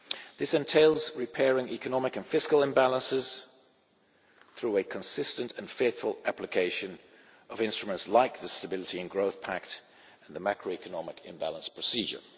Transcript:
This entails repairing economic and fiscal imbalances through a consistent and faithful application of instruments like the Stability and Growth Pact and the macroeconomic imbalance procedure.